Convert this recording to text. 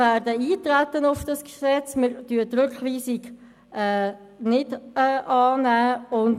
Wir werden auf das Gesetz eintreten und die Rückweisung nicht annehmen.